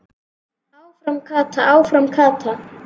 Áfram Kata, áfram Kata!